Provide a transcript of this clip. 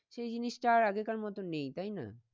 সেই জিনিসটা আর আগে কার মতন নেই তাই না?